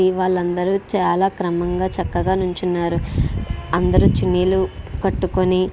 వాళ్లందరు చాల క్రమంగా చక్కగా నిల్చున్నారు అందరూ చున్నీలు కట్టుకొని --